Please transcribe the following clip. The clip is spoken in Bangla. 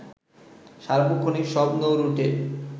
সার্বক্ষণিক সব নৌরুটে